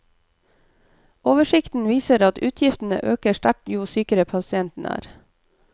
Oversikten viser at utgiftene øker sterkt jo sykere pasienten er.